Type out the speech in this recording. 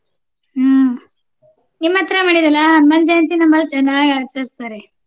ಹ್ಮ ನಿಮ್ಮ ಹತ್ರ ಮಾಡಿರಲ್ಲಾ ಹನುಮಾನ್ ಜಯಂತಿ ನಮ್ಮಲ್ಲಿ ಚೆನ್ನಾಗಿ ಆಚರಸ್ತಾರೆ.